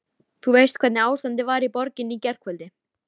Þú veist hvernig ástandið var í borginni í gærkvöldi.